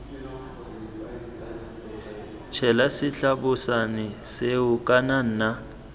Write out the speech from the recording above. tshela setlabošane seo kana nna